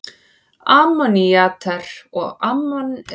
Ammonítar eða ammonshorn er undirflokkur sælindýra af flokki kolkrabba.